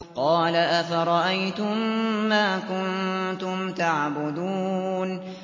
قَالَ أَفَرَأَيْتُم مَّا كُنتُمْ تَعْبُدُونَ